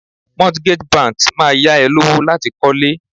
Mortgage banks Máa yá ẹ lówó láti kọ́ lé.